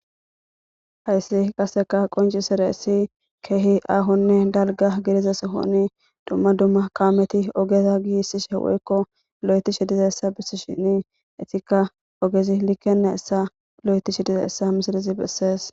Hayssi qasseka qonci sire issi keehi aahonne dalga giriza sohoni dumma dumma kaameti ogeza giissishe woykko lo'eticshi diza essa bissi shini etikka ogezi likkene essa lo7eticshe diza essa misirizi bessees,.